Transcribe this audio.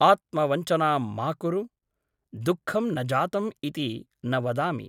आत्मवञ्चनां मा कुरु । दुःखं न जातम् इति न वदामि ।